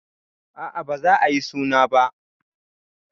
Aa baza ayi suna ba